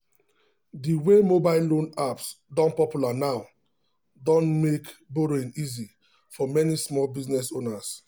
the way mobile loan apps don popular now don make borrowing easy for many small business owners.